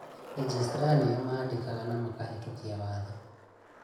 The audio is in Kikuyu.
legistra nĩo maanfĩkaga na makahĩtũkia watho